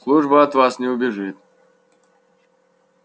служба от вас не убежит